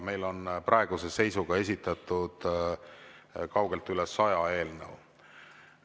Meile on praeguse seisuga esitatud kaugelt üle saja eelnõu.